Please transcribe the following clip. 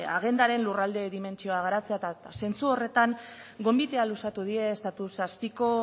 agendaren lurralde dimentsioa garatzea eta zentzu horretan gonbitea luzatu die estatu zazpiko